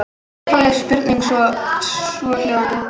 Upphafleg spurning var svohljóðandi: